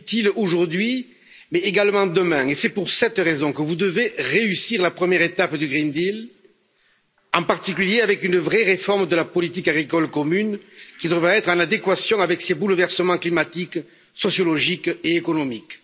Utile aujourd'hui, mais également demain, et c'est pour cette raison que vous devez réussir la première étape du pacte vert pour l'Europe, en particulier, avec une vraie réforme de la politique agricole commune qui devrait être en adéquation avec ces bouleversements climatiques, sociologiques et économiques.